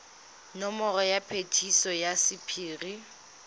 nomoro ya phetiso ya sephiri